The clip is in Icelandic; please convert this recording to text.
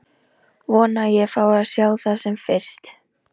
Vona að ég fái að sjá það sem fyrst.